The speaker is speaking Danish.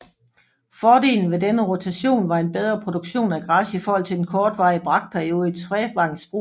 Fordelen ved denne rotation var en bedre produktion af græs i forhold til den kortvarige brakperiode i trevangsbrug